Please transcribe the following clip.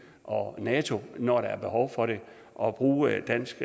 og nato når der er behov for det og bruge dansk